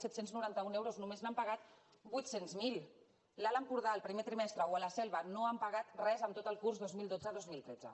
set cents i noranta un euros només n’han pagat vuit cents miler a l’alt empordà el primer trimestre o a la selva no han pagat res en tot el curs dos mil dotze dos mil tretze